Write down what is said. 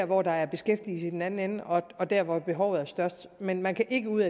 hvor der er beskæftigelse i den anden ende og der hvor behovet er størst men man kan ikke ud